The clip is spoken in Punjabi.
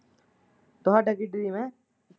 ਤੁਹਾਡਾ ਕੀ dream ਐ।